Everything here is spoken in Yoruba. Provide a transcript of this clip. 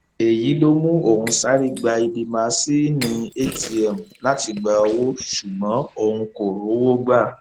èyí ló mú òun sáré gba ibi másinni atm láti gba owó ṣùgbọn òun kò rówó gbà